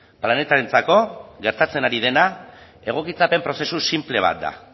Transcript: planetarentzako gertatzen ari dena egokitzapen prozesu sinple bat da